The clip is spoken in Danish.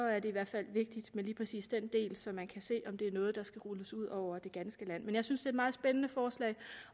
i hvert fald vigtigt med lige præcis den del så man kan se om det er noget der skal rulles ud over det ganske land men jeg synes et meget spændende forslag